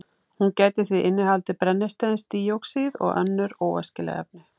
Hún gæti því innihaldið brennisteinsdíoxíð og önnur óæskileg efni.